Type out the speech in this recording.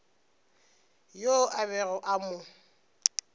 yoo a bego a mo